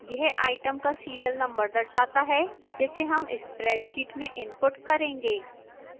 यह items का serial number दर्शाता है जिसे हम spreadsheet में input करेंगे